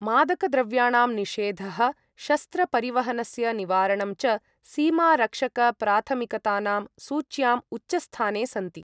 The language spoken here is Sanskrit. मादकद्रव्याणां निषेधः, शस्त्रपरिवहनस्य निवारणं च सीमारक्षकप्राथमिकतानां सूच्याम् उच्चस्थाने सन्ति।